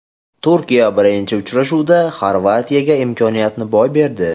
Turkiya birinchi uchrashuvda Xorvatiyaga imkoniyatni boy berdi.